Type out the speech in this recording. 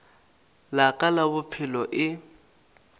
la ka la bophelo e